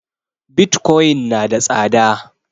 Bitcoin na da tsada